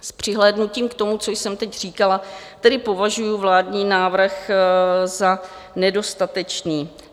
S přihlédnutím k tomu, co jsem teď říkala, tedy považuji vládní návrh za nedostatečný.